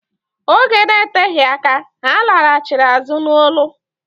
Oge na-eteghi aka, ha laghachịrị azụ n'ọlụ.